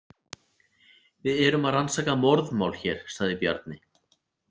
Við erum að rannsaka morðmál hér, sagði Bjarni.